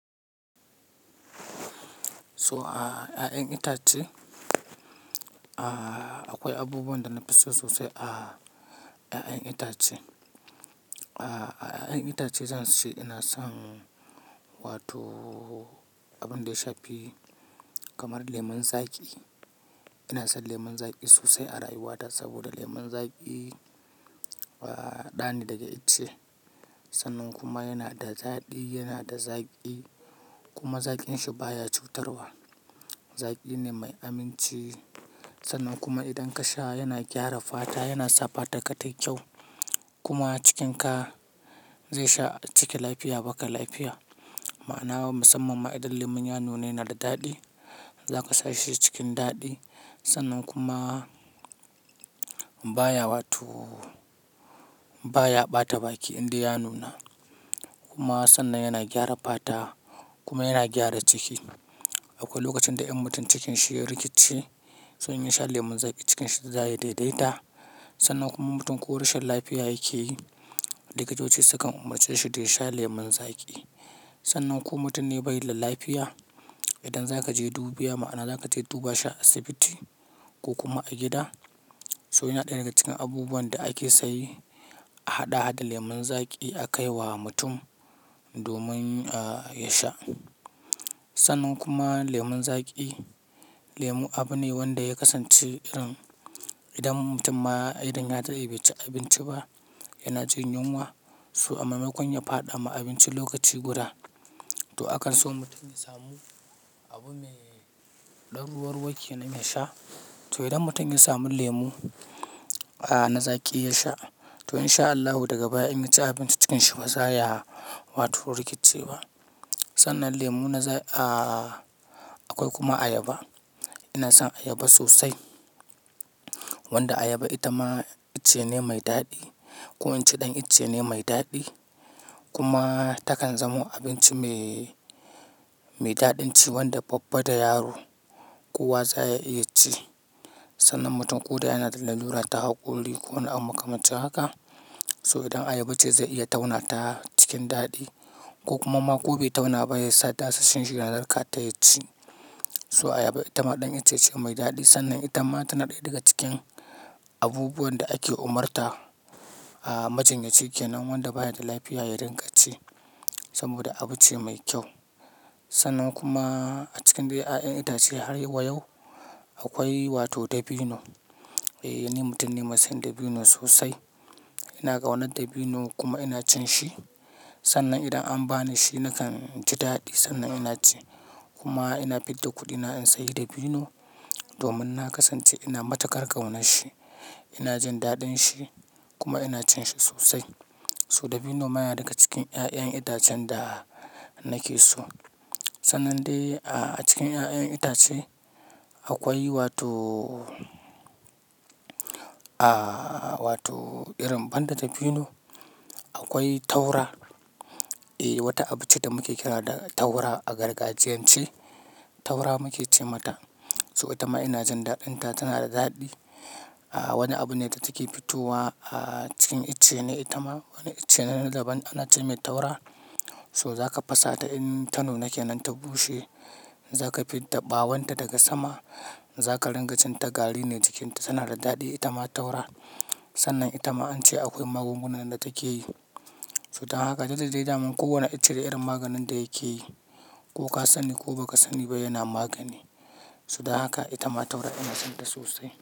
So a, a 'yan itatu, a, akwai abubuwan da na fi so sosai a, a 'yan itace. A, a 'yan itace zan ce, ina son wato abin da ya shafi kamar lemun zaƙi. Ina son lemun zaƙi sosai a rayuwata saboda lemun zaƙi, a, ɗani daga itace. Sannan kuma yana da daɗi, yana da zaƙi kuma zaƙin shi baya cutarwa. Zaƙi ne mai aminci. Sannan kuma idan ka sha yana gyara fata, yana sa fata ka tayi kyau kuma cikinka zai sha ciki lafiya, baka lafiya. Ma'ana na musamman ma idan lemon ya nuna yana da daɗi, zaka sha shi cikin daɗi. Sannan kuma baya wato bata baki indai ya nuna. Kuma sannan yana gyara fata kuma yana gyara ciki. Akwai lokacin da in mutum cikinsa ya rikece, in yasha lemun zaki, cikinsa zaya daidaita. Sannan kuma mutum ko rashin lafiya yake yi, likitoci sukan umarce shi da ya sha lemun zaƙi. Sannan ko mutum ne bai da lafiya, idan zaka je dubiya ma'ana zaka je duba shi a asibiti ko kuma a gida, so yana ɗaya daga cikin abubuwan da ake saye a haɗa harda lemun zaƙi a kai wa mutum domin a, ya sha. Sannan kuma lemun zaƙi, lemu abu ne wanda ya kasance irin idan mutum ma idan ya dade bai ci abinci ba yana jin yunwa, so amma mai kunya faɗa ma abinci lokaci guda, to akan so mutum ya samu abu mai ɗan ruwa ruwa kenan yasha. To idan mutum ya samu lemu, a, na zaƙi ya sha, to in sha Allahu daga baya in ya ci abinci cikin shi ba za ya wato rikice ba. Sannan lemu na za, a, akwai kuma ayaba. Ina son ayaba sosai. Wanda ayaba ita ma ice ne mai daɗi ko in ce ɗan ice ne mai daɗi. Kuma ta kan zamo abinci mai, mai daɗinci wanda babba da yaro kowa za ya iya ci. Sannan mutum ko dai yana da lallura ta hakuri ko ana makamanci haka, so idan ayaba ce zai iya tauna ta cikin daɗi ko kuma ma ko bai tauna ba ya sa ɗakasashen shi yana darka taya ci. So ayaba ita ma ɗan itace ce mai daɗi sannan ita ma tana ɗaya daga cikin abubuwan da ake umarta, a, majinyaci ke nan wanda baya da lafiya yayi rinka ci saboda abu ce mai kyau. Sannan kuma a cikin dai 'ya'yan itace har wa yau akwai wato dabino. Eh, ni mutum ne mai son dabino sosai. Ina ƙaunar dabino kuma ina cin shi. Sannan idan an ba ni shi nakan ji daɗi sannan ina ci. Kuma ina fin da kuɗina in sayi dabino domin na kasance ina matukar ƙaunar shi, ina jin daɗin shi kuma ina cin shi sosai. So dabino ma yana daga cikin 'ya'yan itacen da nake so. Sannan dai a cikin 'ya'yan itace akwai wato a, wato irin banda dabino, akwai taura. Eh, wata abu ce da muke kira ta taura a gargajiyance. Taura muke ce mata. So ita ma ina jin daɗin ta, tana da daɗi. Wani abune da yake fitowa a cikin icce ne itama, wani icce ne na daban ana ce mata taura. To zaka fasata inta nuna kenan ta bushe, zaka fidda bawonta daga sama zaka rinka cinta gari tana da dadi itama taura, sannan itama ance akwai magunguna da takeyi. So dan haka da duk da dai daman kowane ice da irin maganin da yake yi ko ka sani ko ba ka sani ba yana magani. So dan haka ita ma taura ina son ta sosai.